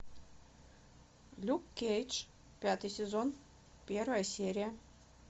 люк кейдж пятый сезон первая серия